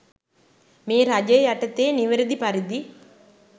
මේ රජය යටතේ නිවැරදි පරිදි